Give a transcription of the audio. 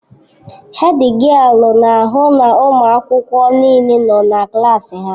Hédgịél na-ahụ na ụmụ akwụkwọ niile nọ na klaasị ha.